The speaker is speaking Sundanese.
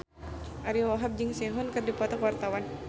Ariyo Wahab jeung Sehun keur dipoto ku wartawan